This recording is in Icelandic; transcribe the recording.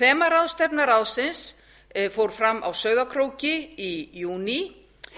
þemaráðstefna ráðsins fór fram á sauðárkróki í júní